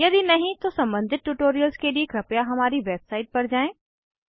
यदि नहीं तो सम्बंधित ट्यूटोरियल्स के लिए कृपया हमारी वेबसाइट पर जाएँ